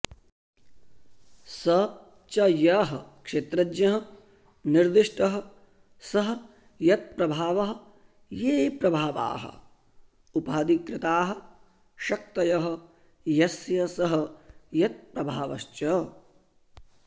स च यः क्षेत्रज्ञः निर्दिष्टः सः यत्प्रभावः ये प्रभावाः उपाधिकृताः शक्तयः यस्य सः यत्प्रभावश्च